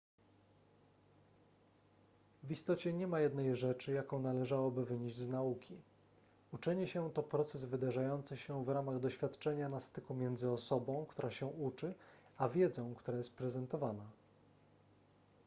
w istocie nie ma jednej rzeczy jaką należałoby wynieść z nauki uczenie się to proces wydarzający się w ramach doświadczenia na styku między osobą która się uczy a wiedzą która jest prezentowana